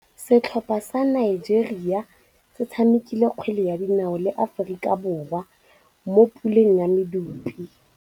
Setlhopha sa Nigeria se tshamekile kgwele ya dinaô le Aforika Borwa mo puleng ya medupe.